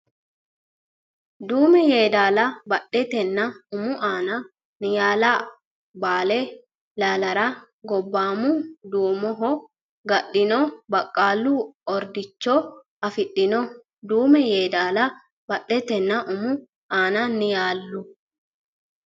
Duume Yeedaala badhetenna umu aana Niyaalu Baale Ilaallara Gobboomu duumoho ga nino baqqala ordicho afidhino Duume Yeedaala badhetenna umu aana Niyaalu.